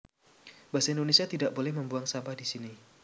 Basa Indonésia Tidak boleh membuang sampah di sini